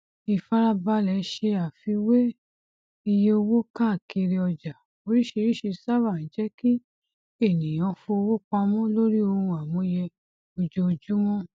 ìfàràbàlẹ se àfíwẹ iye owó káàkiri ọjà oríṣìíríṣìí sábà ń jẹ kí ènìyàn fọwó pamọ lórí ohun amúyẹ ojoojúmọ